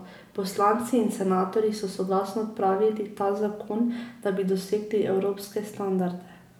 Poslanci in senatorji so soglasno odpravili ta zakon, da bi dosegli evropske standarde.